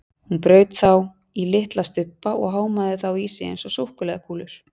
Hún braut þá í litla stubba og hámaði þá í sig eins og súkkulaðikúlur.